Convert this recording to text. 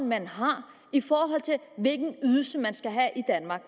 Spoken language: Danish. man har i forhold til hvilken ydelse man skal have i danmark